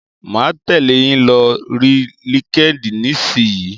Mà á tẹ̀lẹ́ yín lórí Linkedin nísìyí.